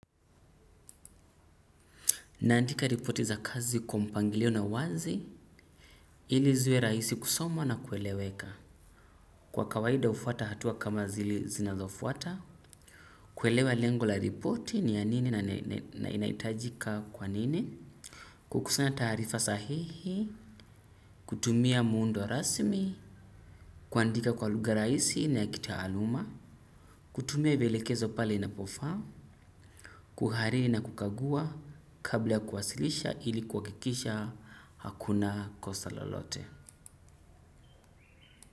Naandika ripoti za kazi kwa mpangilio na wazi. Ili ziwe rahisi kusomwa na kueleweka. Kwa kawaida hufuata hatua kama zile zinazofuata. Kuelewa lengo la ripoti ni ya nini na inahitajika kwa nini. Kukusunya taarifa sahihi. Kutumia muundo rasmi. Kuandika kwa lugha rahisi na ya kitaaluma. Kutumia vielekezo pale inapofaa. Kuhariri na kukagua kabla ya kuwasilisha ili kuhakikisha hakuna kosa lolote.